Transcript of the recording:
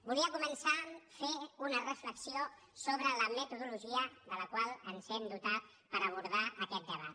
volia començar fent una reflexió sobre la metodolo·gia de la qual ens hem dotat per abordar aquest tema